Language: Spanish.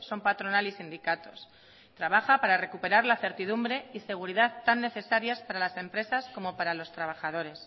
son patronal y sindicatos trabaja para recuperar la certidumbre y seguridad tan necesarias para las empresas como para los trabajadores